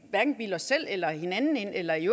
hverken bilde os selv eller hinanden eller i